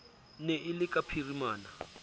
ne e le ka phirimana